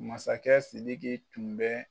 Masakɛ Sidiki tun bɛ